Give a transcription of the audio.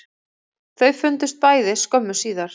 Þau fundust bæði skömmu síðar